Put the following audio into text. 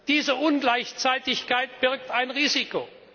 Diese Ungleichzeitigkeit birgt ein Risiko.